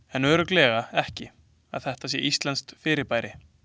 En örugglega ekki að þetta sé íslenskt fyrirbæri.